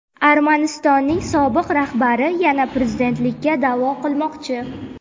Armanistonning sobiq rahbari yana prezidentlikka da’vo qilmoqchi.